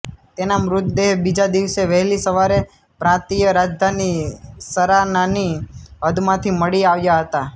તેના મૃતદેહ બીજા દિવસે વહેલી સવારે પ્રાંતીય રાજધાની શરાનાની હદમાંથી મળી આવ્યા હતા